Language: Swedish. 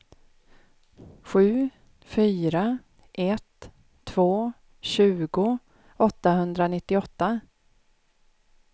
sju fyra ett två tjugo åttahundranittioåtta